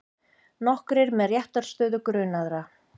Nokkrir með réttarstöðu grunaðra